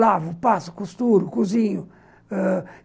Lavo, passo, costuro, cozinho ãh...